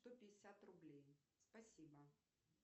сто пятьдесят рублей спасибо